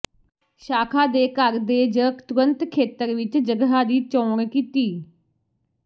ਸ਼ਾਖਾ ਦੇ ਘਰ ਦੇ ਜ ਤੁਰੰਤ ਖੇਤਰ ਵਿਚ ਜਗ੍ਹਾ ਦੀ ਚੋਣ ਕੀਤੀ